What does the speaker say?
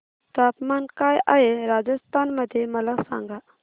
तापमान काय आहे राजस्थान मध्ये मला सांगा